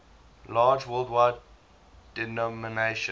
large worldwide denomination